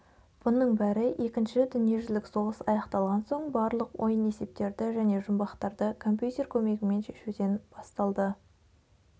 бұның бәрі екінші дүниежүзілік соғыс аяқталған соң барлық ойын есептерді және жұмбақтарды компьютер көмегімен шешуден басталды